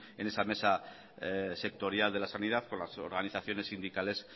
en esa mesa sectorial de la sanidad con las organizaciones sindicales